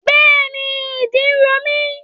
Bẹ́ẹ̀ni, ìdí ro mí.